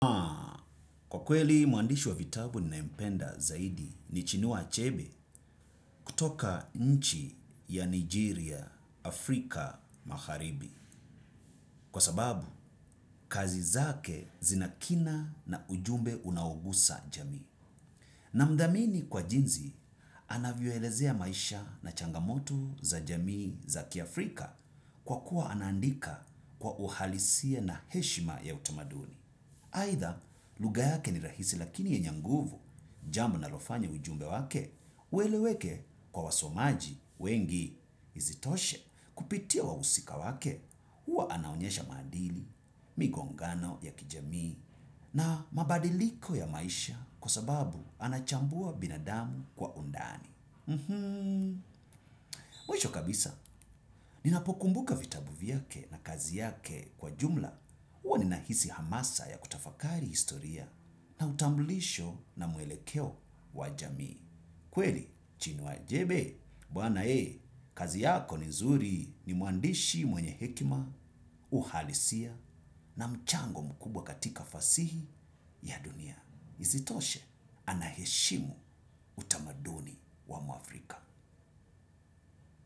Kwa kweli muandishi wa vitabu ninaempenda zaidi ni chinuwa achebe kutoka nchi ya Nigeria, Afrika, Magharibi. Kwa sababu, kazi zake zinakina na ujumbe unaogusa jamii. Na mdamini kwa jinzi, anavyoelezea maisha na changamoto za jamii za kiafrika kwa kuwa anandika kwa uhalisia na heshima ya utamaduni. Haitha, luga yake ni rahisi lakini yenye nguvu jambo nalofanya ujumbe wake, uweleweke kwa wasomaji wengi. Izitoshe kupitia wausika wake, huwa anaonyesha madili, migongano ya kijamii na mabadiliko ya maisha kwa sababu anachambua binadamu kwa undani. Mwisho kabisa, ninapokumbuka vitabu viake na kazi yake kwa jumla huwa ni nahisi hamasa ya kutafakari historia. Na utambulisho na muelekeo wa jamii kweli, chinua ajebe Bwana kazi yako nzuri ni muandishi mwenye hekima. Uhalisia na mchango mkubwa katika fasihi ya dunia. Isitoshe, anaheshimu utamaduni wa mwafrika.